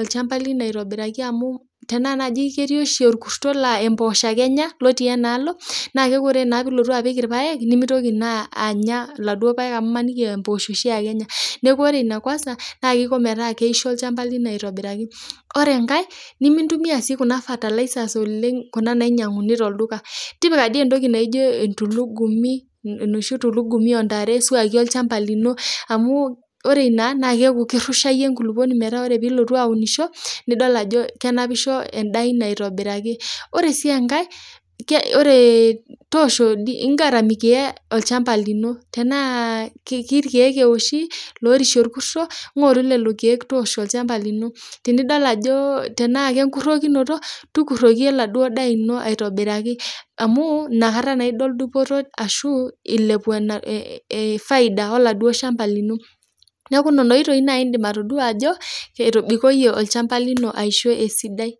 olchamba lino aitobiraki amu tenaa naji ketii oshi olkurto laa emposho shaake enya lotii inaalo naa mekore naa elotu apik irpaek, nemeitoki naa anya eladuo irpaek amu imaniki aa emposho oshaake enya, naaku ore ene kwansa naa keiko metaa keisho ilshamba lino aitobiraki. Ore inkae nimintumiya sii kuna fertilizers oleng kuna nainyang'uni to lduka, tipika dei entoki naijo entulugumi, noshi entulugumi oontare suwuaki olchamba lino amu ore ina naa keaku keirushaiye inkuluponi metaa kore pilotu aunisho nidol ajo kenapisho endaa ino aitobiraki, ore sii enkae, ore toosho ingaramia olchamba lino tana kee ilkeek eoshi loorishe olkurto, ngoru lelo irkeek toosho ilchamba lino, tenidal ajo, tenaa ake enkurokinoto, tukuroki eladuo daa ino aitobiraki amu inakata naa idol dupoto ashu eilepu efaida eladuo ilshamba lino, neaku nena oitoi nai indim atodua ajo etobikoinye olchamba lino aishu esidai.